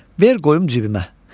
Ver qoyum cibimə.